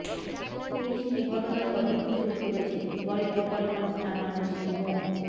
police এ ঘটনার তদন্ত শুরু করেছে বলে গোপালগঞ্জ থানার ওসি মো